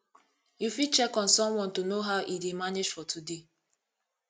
you fit check on someone to know how e dey manage for today